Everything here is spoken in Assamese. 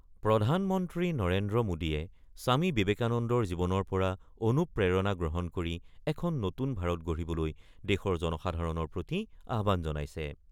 প্ৰধানমন্ত্ৰী নৰেন্দ্ৰ মোডীয়ে স্বামী বিবেকানন্দৰ জীৱনৰ পৰা অনুপ্ৰেৰণা গ্ৰহণ কৰি এখন নতুন ভাৰত গঢ়িবলৈ দেশৰে জনসাধাৰণৰ প্ৰতি আহ্বান জনাইছে।